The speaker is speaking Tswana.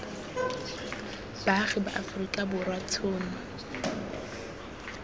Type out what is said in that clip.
baagi ba aforika borwa tshono